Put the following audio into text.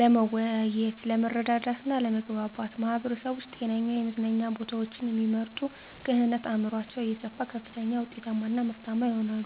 ለመወያየት፤ ለመረዳዳት እና ለመግባባት። ማህበረሰቦች ከጤናማ የመዝናኛ ቦታዎችን እሚመርጡ ክህነት አዕምሯቸው እየሰፋ ከፍተኛ ውጤታማ እና ምርታማ ይሆናሉ።